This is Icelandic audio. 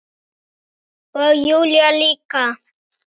Og Júlía líka.